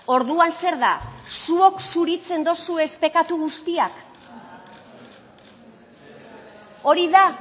orduan zer da zuek zuritzen dozuez pekatu guztiak hori da